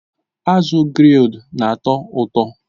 Azụ grilled na-atọ ụtọ